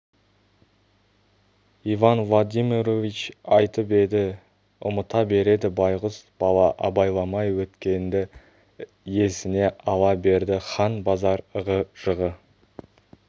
иван владимирович айтып еді ұмыта береді байғұс бала абайламай өткенді есіне ала берді хан базар ығы-жығы